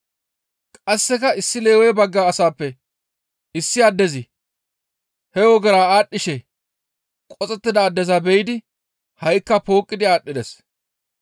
Qasseka issi Lewe bagga asappe issi addezi he ogera aadhdhishe qoxettida addeza be7idi ha7ikka pooqqidi aadhdhides.